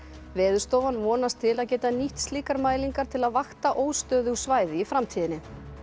Veðurstofan vonast til að geta nýtt slíkar mælingar til að vakta óstöðug svæði í framtíðinni